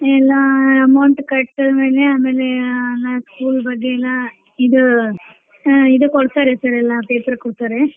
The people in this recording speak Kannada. ಎಲ್ಲಾ amount ಕಟ್ ಆಮೇಲೆ school ಬಗ್ಗೆ ಎಲ್ಲಾ ಇದು ಹಾ ಇದು ಕೊಡ್ತಾರಿ sir ಎಲ್ಲಾ paper ಕೊಡ್ತಾರೇ.